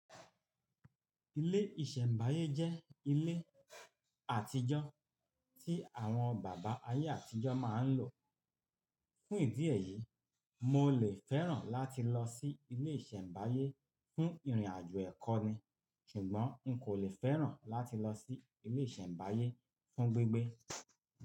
Ilé ìṣẹ̀mbáyé jẹ́ ilé àtijọ́ tí àwọn bàbá ayé àtijọ́ máa ń lò. Fún ìdí èyí, mo lè fẹ́ràn láti lọ sí ilé ìṣẹ̀mbáyé fún ìrìnàjò ẹ̀kọ́ ni ṣùgbọ́n n kò lè fẹ́ràn láti lọ sí ilé ìṣẹ̀mbáyé fún gbígbé.